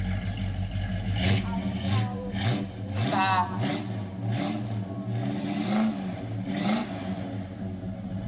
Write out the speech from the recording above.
ahlwaye imibhalo kutfola